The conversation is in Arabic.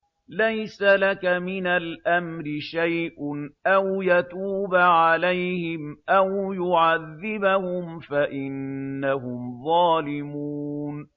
لَيْسَ لَكَ مِنَ الْأَمْرِ شَيْءٌ أَوْ يَتُوبَ عَلَيْهِمْ أَوْ يُعَذِّبَهُمْ فَإِنَّهُمْ ظَالِمُونَ